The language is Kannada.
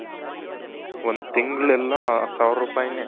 ಒಂದ್ ತಿಂಗಳೆಲ್ಲ ಸಾವಿರ ರುಪಾಯಿನೆ.